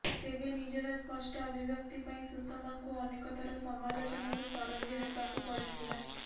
ତେବେ ନିଜର ସ୍ପଷ୍ଟ ଅଭିବ୍ୟକ୍ତି ପାଇଁ ସୁଷମାଙ୍କୁ ଅନେକ ଥର ସମାଲୋଚନାର ଶରବ୍ୟ ହେବାକୁ ପଡିଥିଲା